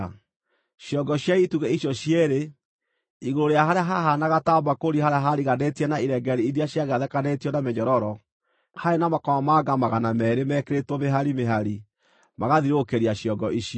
Ciongo cia itugĩ icio cierĩ, igũrũ rĩa harĩa hahaanaga ta mbakũri harĩa haariganĩtie na irengeeri iria ciagathĩkanĩtio ta mĩnyororo, haarĩ na makomamanga magana meerĩ mekĩrĩtwo mĩhari mĩhari magathiũrũrũkĩria ciongo icio.